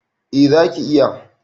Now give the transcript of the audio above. A zaki iya